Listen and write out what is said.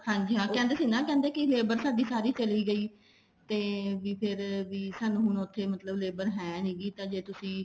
ਹਾਂਜੀ ਹਾਂ ਕਹਿੰਦੇ ਸੀਗੇ ਨਾ ਵੀ ਲੇਬਰ ਸਾਡੀ ਸਾਰੀ ਚਲੀ ਗਈ ਤੇ ਵੀ ਫ਼ੇਰ ਸਾਨੂੰ ਹੁਣ ਉੱਥੇ ਮਤਲਬ ਲੇਬਰ ਹੈ ਨੀ ਹੈਗੀ ਤਾਂ ਜੇ ਤੁਸੀਂ